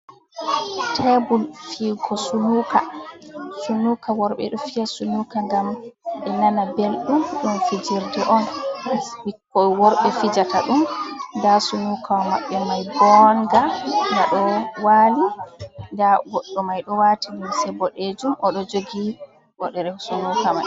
Tablel fi'ego sunuka worɓe ɗo fi'a sunuka ngam ɓe nana belɗum, ngam fijirde on bikko worɓe fijata dum nda sunuka maɓɓe mai bonga gaɗo wali da goɗdo mai ɗo wati limse boɗejum oɗojogi bodere sunuka mai.